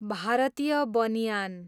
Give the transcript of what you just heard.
Bharatiya banyan